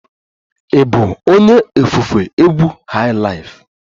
Ị bụ onye ofufe egwu highlife?